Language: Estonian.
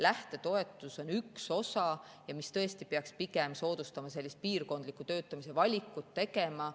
Lähtetoetus on siin üks osa, mis peaks pigem soodustama sellist piirkondliku töötamise valikut tegema.